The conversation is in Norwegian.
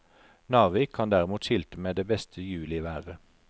Narvik kan derimot skilte med det beste juliværet.